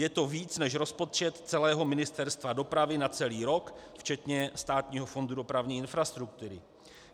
Je to více než rozpočet celého Ministerstva dopravy na celý rok včetně Státního fondu dopravní infrastruktury.